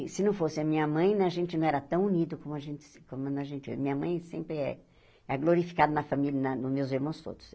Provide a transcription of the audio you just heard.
E se não fosse a minha mãe né, a gente não era tão unido como a gente se como a gente é. Minha mãe sempre é glorificada na família, nos meus irmãos todos.